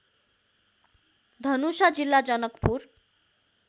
धनुषा जिल्ला जनकपुर